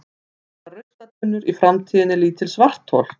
verða ruslatunnur í framtíðinni lítil svarthol